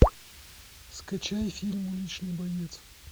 скачай фильм уличный боец